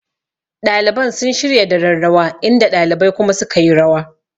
Ɗaliban sun shirya daren rawa inda ɗalibai kuma sukayi rawa